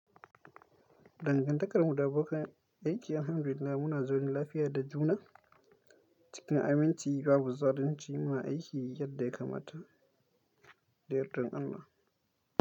Dangantakar mu da abokan aiki na alhamdulillah muna zaune lafiya da juna cikin aminci babu zalunci muna aiki yadda ya kamata da yardar Allah.